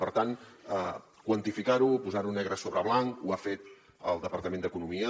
per tant quantificar ho posar ho negre sobre blanc ho ha fet el departament d’economia